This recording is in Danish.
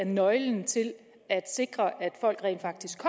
nøglen til det at sikre at folk rent faktisk